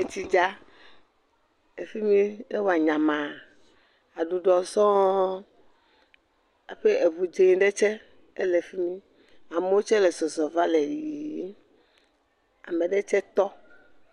Etsi dza. Efi miɛ, ewɔ nyamaaa. Aɖuɖɔ sɔɔɔ, aƒe eŋu dzẽ ɖe tsɛ, ele fi mi. amewo tsɛ le zɔzɔ va le yiyii. Ame ɖetsɛ tɔ